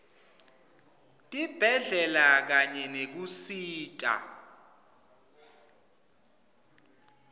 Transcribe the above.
tibhedlela kanye nekusita